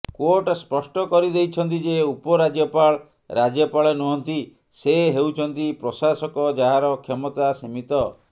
court ସ୍ପଷ୍ଟ କରିଦେଇଛନ୍ତି ଯେ ଉପରାଜ୍ୟପାଳ ରାଜ୍ୟପାଳ ନୁହନ୍ତି ସେ ହେଉଛନ୍ତି ପ୍ରଶାସକ ଯାହାର କ୍ଷମତା ସୀମିତ